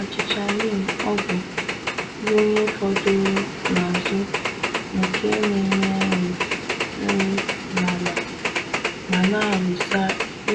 Achịcha neem(ogbu) bu ihe fọdụrụ n’azụ nke na-enye nri nri n’ala ma n’alụsa